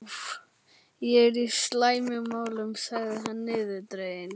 Ég er í slæmum málum sagði hann niðurdreginn.